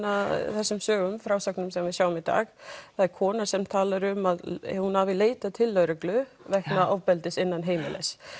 þessum sögum frásögnum sem við sjáum í dag það er kona sem talar um að hún hafi leitað til lögreglu vegna ofbeldis innan heimilis